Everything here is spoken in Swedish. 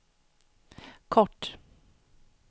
kort